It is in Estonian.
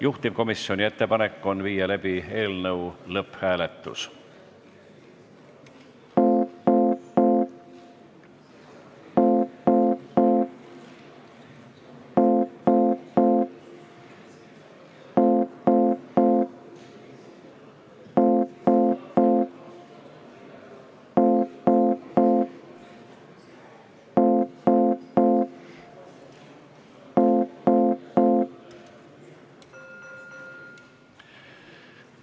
Juhtivkomisjoni ettepanek on viia läbi eelnõu lõpphääletus.